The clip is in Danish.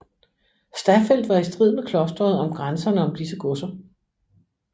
Staffeldt var i strid med klostret om grænserne om disse godser